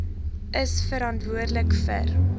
is verantwoordelik vir